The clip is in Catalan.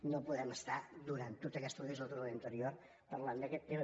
no podem estar durant tota aquesta legislatura i l’anterior parlant d’aquest tema